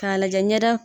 K'a lajɛ ɲɛda